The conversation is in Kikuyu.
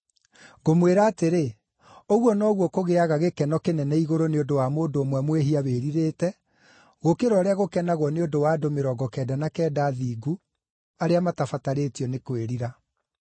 Ngũmwĩra atĩrĩ, ũguo noguo kũgĩaga gĩkeno kĩnene igũrũ nĩ ũndũ wa mũndũ ũmwe mwĩhia wĩrirĩte, gũkĩra ũrĩa gũkenagwo nĩ ũndũ wa andũ mĩrongo kenda na kenda athingu arĩa matabatarĩtio nĩ kwĩrira.